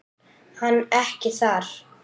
Hann ekki þar.